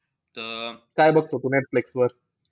काय बघतो तू नेटफ्लिक्सवर?